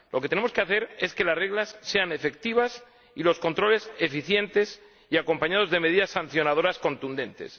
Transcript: Lo que tenemos que hacer es que las reglas sean efectivas y que los controles sean eficientes y vayan acompañados de medidas sancionadoras contundentes.